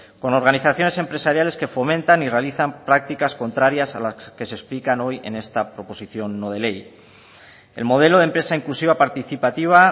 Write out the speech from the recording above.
con organizaciones empresariales que fomentan y realizan prácticas contrarias a las que se explican hoy en esta proposición no de ley el modelo de empresa inclusiva participativa